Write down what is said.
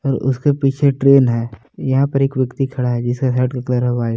और उसके पीछे ट्रेन है यहां पर एक व्यक्ति खड़ा है जिसके शर्ट का कलर है व्हाइट ।